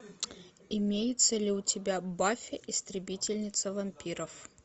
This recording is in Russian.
имеется ли у тебя баффи истребительница вампиров